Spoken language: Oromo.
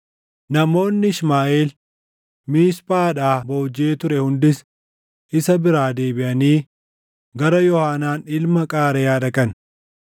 Namoonni Ishmaaʼeel Miisphaadhaa boojiʼee ture hundis isa biraa deebiʼanii gara Yoohaanaan ilma Qaareyaa dhaqan.